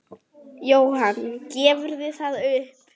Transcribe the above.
Jóhann: Gefurðu það upp?